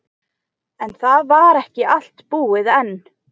En það var ekki allt búið enn.